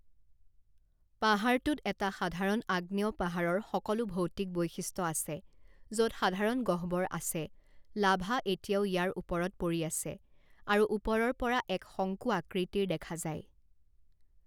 পাহাৰটোত এটা সাধাৰণ আগ্নেয়পাহাৰৰ সকলো ভৌতিক বৈশিষ্ট্য আছে য'ত সাধাৰণ গহ্বৰ আছে লাভা এতিয়াও ইয়াৰ ওপৰত পৰি আছে আৰু ওপৰৰ পৰা এক শঙ্কু আকৃতিৰ দেখা যায়।